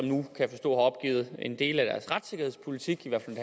nu kan forstå har opgivet dele af deres retssikkerhedspolitik i hvert fald